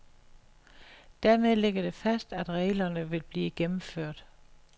Dermed ligger det fast, at reglerne vil blive gennemført.